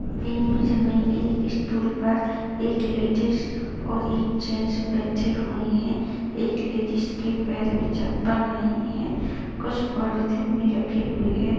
Image में एक stool पर एक लेडीज़ और एक जेंट्स बैठे हुए है एक लेडीज़ के पैर में चप्पल नहीं है कुछ पॉलिथीन में रखे हुए है।